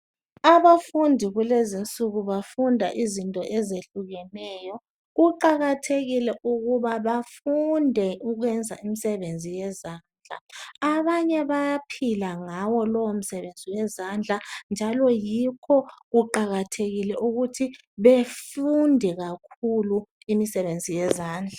Abafundi kulenzinsiku bafunda izinto ezehlukeneyo. Kuqakathekile ukuba bafunde ukwenza imisebenzi yezandla. Abanye bayaphila ngawo lowo umsebenzi wezandla njalo yikho kuqakathekile ukuthi befunde kakhulu imisebenzi yezandla.